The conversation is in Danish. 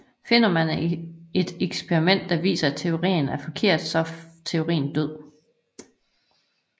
Finder man et eksperiment der viser at teorien er forkert så er teorien død